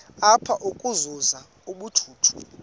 apha ukuzuza ubujuju